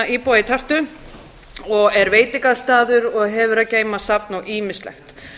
íbúa í tartu og er veitingastaður og hefur að geyma safn og ýmislegt